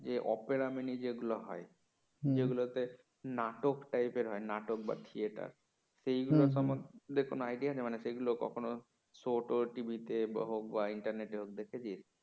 এ অপেরা মিনি যেগুলো হয় যেগুলোতে নাটক টাইপের হয় নাটক বা থিয়ে theater সেগুলো সম্বন্ধে কোন আইডিয়া আছে মানে সেই গুলো কখনো show ট tv হোক বা internet হোক কখনো দেখেছিস?